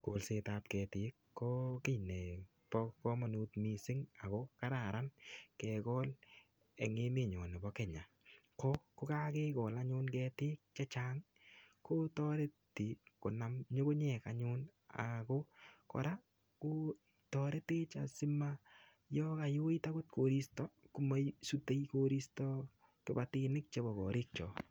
Kolsetab ketik ko kii nebo kamanut mising ako kararan kegol eng emenyo tebo Kenya. Ko kokagegol anyun ketik che chang kotoreti konam nyungunyek ako kora kotaretech asima yon kayoit agot koristo kamasutei koristo kipatinik chebo korikyok.